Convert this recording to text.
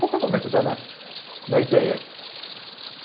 Qualquer momento dá na na ideia.